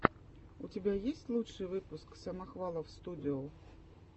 у тебя есть лучший выпуск самохвалов студио